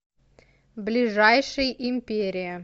ближайший империя